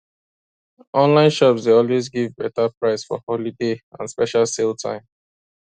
online shops dey always give better price for holiday and special sale time